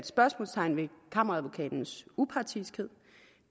spørgsmålstegn ved kammeradvokatens upartiskhed